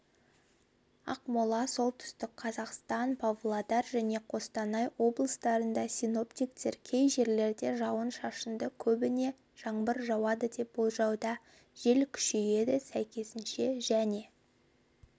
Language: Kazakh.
ақмола солтүстік қазақстан павлодар және қостанай облыстарында синоптиктер кей жерлерде жауын-шашынды көбіне жаңбыр жауады деп болжауда жел күшейеді сәйкесінше және